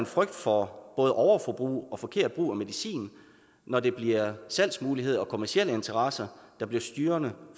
frygt for både overforbrug og forkert brug af medicin når det bliver salgsmuligheder og kommercielle interesser der bliver styrende